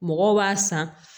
Mɔgɔw b'a san